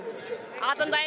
allan daginn